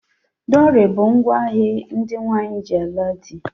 Dowry bu ngwa hé ndị nwanyị ji ala di.